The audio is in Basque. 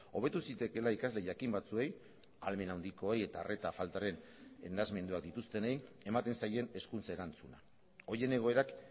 hobetu zitekeela ikasle jakin batzuei ahalmen handikoei eta arreta faltaren nahasmenduak dituztenei ematen zaien hezkuntza erantzuna horien egoerak